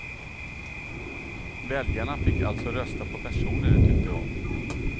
Väljarna fick alltså rösta på personer de tyckte om.